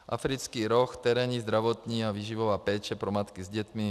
Africký roh - terénní, zdravotní a výživová péče pro matky s dětmi.